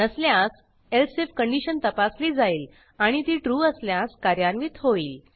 नसल्यास else I F condition तपासली जाईल आणि ती ट्रू असल्यास कार्यान्वित होईल